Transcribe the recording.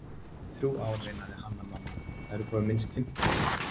Þrjú ár, veinaði Hanna-Mamma,- það eru komin minnst fimmtán ár.